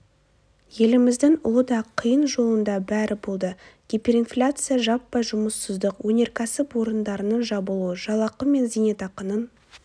еліміздің ұлы да қиын жолында бәрі болды гиперинфляция жаппай жұмыссыздық өнеркәсіп орындарының жабылуы жалақы мен зейнетақының